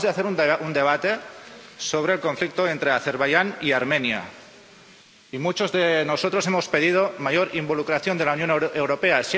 Acabamos de hacer un debate sobre el conflicto entre Azerbaiyán y Armenia y muchos de nosotros hemos pedido mayor involucración de la Unión Europea.